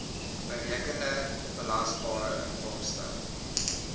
berekende belasbare inkomste